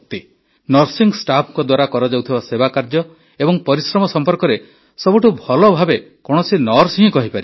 nursing ଷ୍ଟାଫ୍ଙ୍କ ଦ୍ୱାରା କରାଯାଉଥିବା ସେବାକାର୍ଯ୍ୟ ଏବଂ ପରିଶ୍ରମ ସମ୍ପର୍କରେ ସବୁଠୁ ଭଲ ଭାବେ କୌଣସି ନର୍ସ ହିଁ କହିପାରିବେ